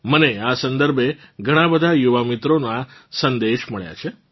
મને આ સંદર્ભે ઘણાં બધાં યુવા મિત્રોનાં સંદેશ મળ્યાં છે